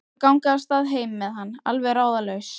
Þau ganga af stað heim með hann, alveg ráðalaus.